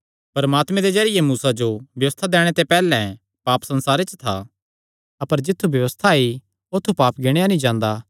परमात्मे दे जरिये मूसा जो व्यबस्था दैणे ते पैहल्ले पाप संसारे च था अपर जित्थु व्यबस्था आई औत्थू पाप गिणेया नीं जांदा